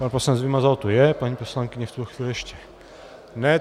Pan poslanec Vymazal tu je, paní poslankyně v tuto chvíli ještě ne.